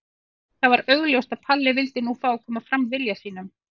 Það var augljóst að Palli vildi nú fá að koma fram vilja sínum.